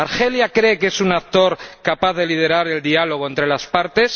¿Cree que Argelia es un actor capaz de liderar el diálogo entre las partes?